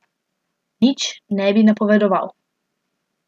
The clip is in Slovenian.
Nič ne bi napovedoval.